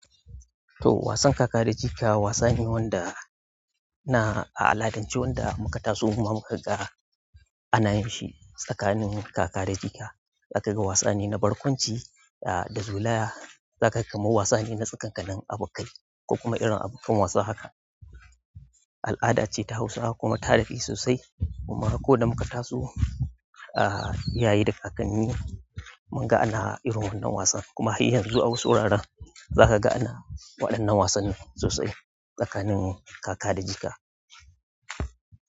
To wasan kaka da jika wasa ne wanda na, a al'adance wanda muka taso kuma muka ga ana yin shi tsakanin kaka da jika. Za ka ga wasa ne na barkwanci, da zolaya, za ka ga kamar wasane na tsakankanan abokai, ko kuma irin abokan wasa haka. Al'ada ce ta Hausawa kuma ta daɗe sosai. Amma ko da muka taso, ah iyaye da kakanni, mun ga ana irin wannan wasan kuma har yanzu a wasu wuraren zaka ga ana waƴannan wasannin sosai, tsakanin kaka da jika.